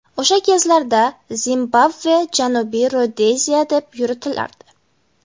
O‘sha kezlarda Zimbabve Janubiy Rodeziya deb yuritilardi.